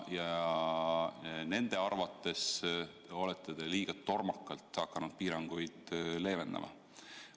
Nende arvates olete te liiga tormakalt hakanud piiranguid leevendama.